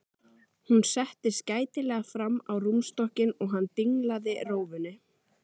Hún settist gætilega fram á rúmstokkinn og hann dinglaði rófunni.